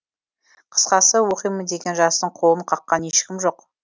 қысқасы оқимын деген жастың қолын қаққан ешкім жоқ